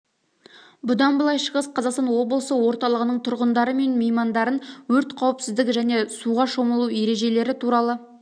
бұдан былай шығыс қазақстан облысы орталығының тұрғындары мен меймандарын өрт қауіпсіздігі және суға шомылу ережелері туралы